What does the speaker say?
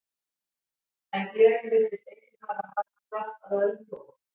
En gleðin virtist einnig hafa haft kraft af öðrum toga.